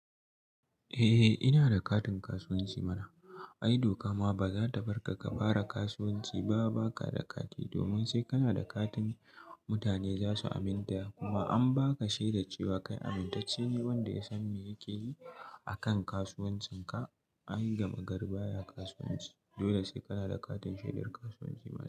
Eh ina da katin kasuwanci mana, ai doka ma baza ta barka ka fara kasuwanci ba baka da kati, domin sai kana da katin mutane zasu aminta da ku ba an baka shaidar cewa kai amintacce ne wanda ya san me yake yi a kan kasuwancin ka, ayi gama gar baya kasuwanci, dole sai kana da katin shaidar kasuwanci mana.